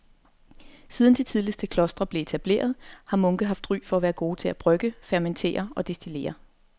Siden de tidligste klostre blev etableret har munke haft ry for at være gode til at brygge, fermentere og destillere.